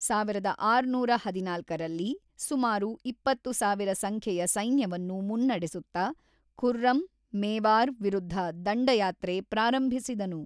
ಸಾವಿರದ ಆರುನೂರ ಹದಿನಾಲ್ಕರಲ್ಲಿ, ಸುಮಾರು ಇಪ್ಪತ್ತು ಸಾವಿರ ಸಂಖ್ಯೆಯ ಸೈನ್ಯವನ್ನು ಮುನ್ನಡೆಸುತ್ತ, ಖುರ್ರಮ್, ಮೇವಾರ್ ವಿರುದ್ಧ ದಂಡಯಾತ್ರೆ ಪ್ರಾರಂಭಿಸಿದನು.